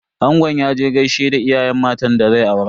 Angon ya je gaishe da iyayen matan da zai aura.